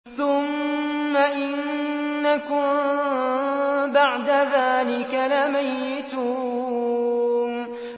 ثُمَّ إِنَّكُم بَعْدَ ذَٰلِكَ لَمَيِّتُونَ